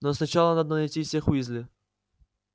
но сначала надо найти всех уизли